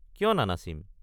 কিয় নানাচিম?